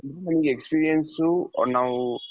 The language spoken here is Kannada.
ಅಂದ್ರೆ ನಮ್ಗೆ experience ನಾವು